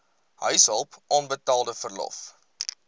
huishulp onbetaalde verlof